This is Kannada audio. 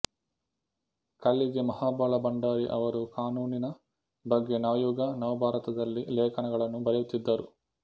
ಕಳ್ಳಿಗೆ ಮಹಾಬಲ ಭಂಡಾರಿ ಅವರು ಕಾನೂನಿನ ಬಗ್ಗೆ ನವಯುಗ ನವಭಾರತದಲ್ಲಿ ಲೇಖನಗಳನ್ನು ಬರೆಯತ್ತಿದ್ದರು